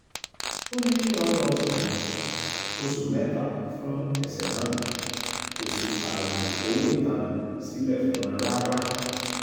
ó ní kí wọ́n lọ́ọ́ sẹ́wọ̀n oṣù mẹ́ta fún ẹsẹ náà kó sì fààyè owó ìtanràn sílẹ̀ fún wọn rárá